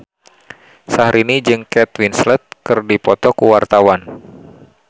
Syahrini jeung Kate Winslet keur dipoto ku wartawan